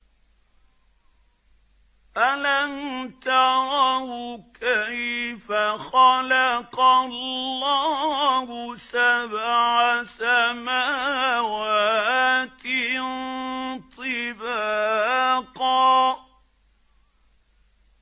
أَلَمْ تَرَوْا كَيْفَ خَلَقَ اللَّهُ سَبْعَ سَمَاوَاتٍ طِبَاقًا